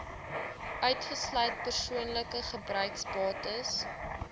uitgesluit persoonlike gebruiksbates